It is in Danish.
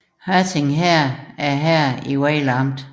Hatting Herred er herred i Vejle Amt